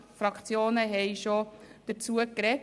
Einige Fraktionen haben bereits dazu gesprochen.